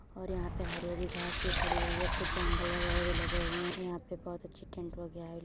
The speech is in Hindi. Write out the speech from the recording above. और यहाँ पे हरी हरी घास लगी हुई है | कुछ एंगल वगेरा भी लगे हुआ है । यहाँ पे बहोत टेंट --